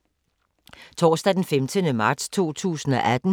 Torsdag d. 15. marts 2018